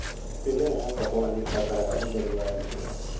Mĩmera ya kahũa nĩĩbataraga ũtheri wa riũa